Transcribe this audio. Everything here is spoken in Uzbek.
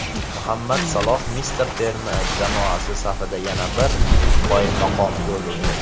Muhammad Saloh Misr terma jamoasi safida yana bir qoyilmaqom gol urdi .